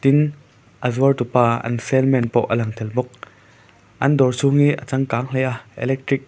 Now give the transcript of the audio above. a zuar tupa an saleman pawh a lang tel bawk an dawr chhung hi a changkang hle a electric --